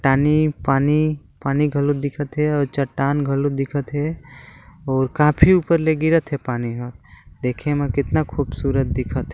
टानी पानी-पानी घलो दिखत हे अउ चट्टान घलो दिखत हे और काफी ऊपर ले गिरत हे पानी ह देखे म कितना खूबसूरत दिखत हे।